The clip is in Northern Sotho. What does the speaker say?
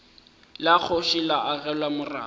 la kgoši le agelwa morako